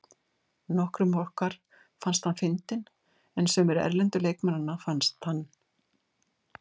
Nokkrum okkar fannst hann fyndinn en sumir erlendu leikmannanna fannst hann.